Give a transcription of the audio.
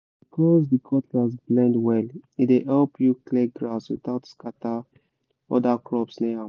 because the cutlass bend well e dey help you clear grass without scatter other crops near am